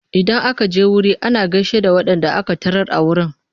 Idan aka je wuri ana gaishe da waɗanda aka tarar a wurin.